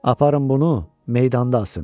Aparın bunu, meydanda asın.